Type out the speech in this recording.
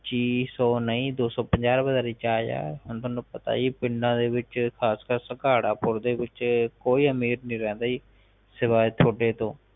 ਸੋ ਨਹੀਂ ਦੋਸੋਂ ਪੰਜਾਹ ਦਾ ਰਿਚਾਰਜ ਆ ਹੁਣ ਤੁਹਾਨੂੰ ਪਤਾ ਈ ਆ ਪਿੰਡ ਦੇ ਵਿਚ ਖਾਸ ਕਰ ਸੰਘਾਰਾਪੁਰ ਦੇ ਵਿਚ ਕੋਈ ਅਮੀਰ ਨਹੀਂ ਰਹਿੰਦਾ ਜੀ ਸਵਾਏ ਤੁਹਾਡੇ ਤੋਂ